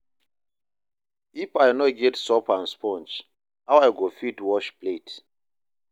If I no get soap and sponge, how I go fit wash plate?